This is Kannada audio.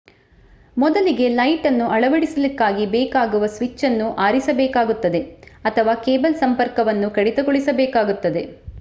ಮೊದಲಿಗೆ ಲೈಟನ್ನು ಅಳವಡಿಸಲಿಕ್ಕಾಗಿ ಬೇಕಾಗುವ ಸ್ವಿಚ್ಚನ್ನು ಆರಿಸಬೇಕಾಗುತ್ತದೆ ಅಥವಾ ಕೇಬಲ್ ಸಂಪರ್ಕವನ್ನು ಕಡಿತಗೊಳಿಸಬೇಕಾಗುತ್ತದೆ